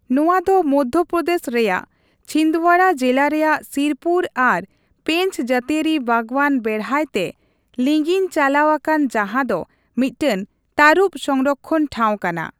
ᱱᱚᱣᱟ ᱫᱚ ᱢᱚᱫᱽᱫᱷᱚᱯᱨᱚᱫᱮᱥ ᱨᱮᱭᱟᱜ ᱪᱷᱤᱱᱫᱽᱣᱟᱨᱟ ᱡᱤᱞᱟ ᱨᱮᱭᱟᱜ ᱥᱤᱨᱯᱩᱨ ᱟᱨ ᱯᱮᱧᱪ ᱡᱟᱹᱛᱤᱭᱟᱹᱨᱤ ᱵᱟᱜᱽᱣᱟᱹᱱ ᱵᱮᱲᱦᱟᱭ ᱛᱮ ᱞᱤᱝᱜᱤ ᱪᱟᱞᱟᱣ ᱟᱠᱟᱱᱟ ᱡᱟᱦᱟᱸ ᱫᱚ ᱢᱤᱫᱴᱟᱝ ᱛᱟᱹᱨᱩᱵ ᱥᱚᱝᱨᱚᱠᱠᱷᱚᱱ ᱴᱷᱟᱶ ᱠᱟᱱᱟ ᱾